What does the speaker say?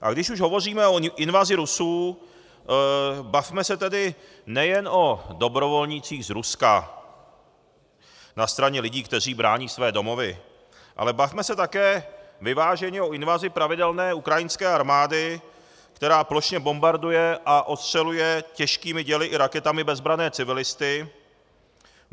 A když už hovoříme o invazi Rusů, bavme se tedy nejen o dobrovolnících z Ruska na straně lidí, kteří brání své domovy, ale bavme se také vyváženě o invazi pravidelné ukrajinské armády, která plošně bombarduje a ostřeluje těžkými děly i raketami bezbranné civilisty.